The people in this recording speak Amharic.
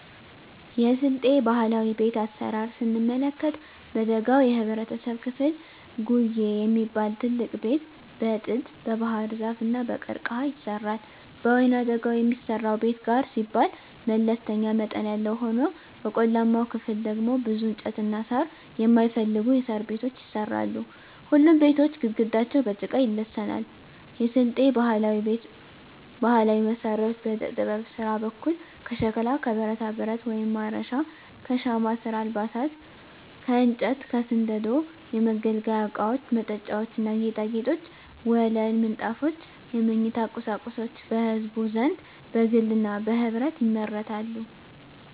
የስልጤ ባህላዊ ቤት አሰራር ስንመለከት በደጋው የህብረተሰብ ክፍል ጉዬ የሚባል ትልቅ ቤት በጥድ, በባህርዛፍ እና በቀርቀሀ ይሰራል። በወይናደጋው የሚሰራው ቤት ጋር ሲባል መለስተኛ መጠን ያለው ሆኖ በቆላማው ክፍል ደግሞ ብዙ እንጨትና ሳር የማይፈልጉ የሣር ቤቶች ይሰራሉ። ሁሉም ቤቶች ግድግዳቸው በጭቃ ይለሰናሉ። የስልጤ ባህላዊ ቤት ባህላዊ መሳሪያዎች በዕደጥበብ ስራ በኩል ከሸክላ ከብረታብረት (ማረሻ) ከሻማ ስራ አልባሳት ከእንጨት ከስንደዶ የመገልገያ እቃወች መጠጫዎች ና ጌጣጌጦች ወለል ምንጣፎች የመኝታ ቁሳቁሶች በህዝቡ ዘንድ በግልና በህብረት ይመረታሉ።